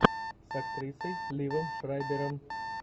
с актрисой ливом шрайбером